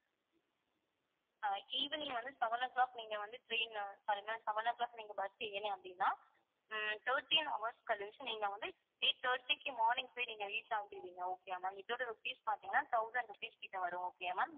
ஆஹ் evening வந்து seven o'clock நீங்க வந்து train னு sorry ma'am seven o'clock நீங்க bus ஏறுனீங்க அப்படின்னா உம் thirteen hours கழிச்சு நீங்க வந்து eight thirty க்கு morning போயி நீங்க reach ஆகிருவிங்க okay யா ma'am இதோட rupees பாத்தீங்கன்னா thousand rupees கிட்ட வரும் okay யா ma'am